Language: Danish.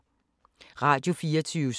Radio24syv